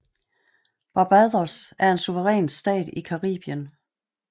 Barbados er en suveræn stat i Caribien